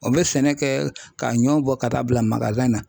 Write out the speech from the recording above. O bɛ sɛnɛ kɛ k'a ɲɔw bɔ ka t'a bila na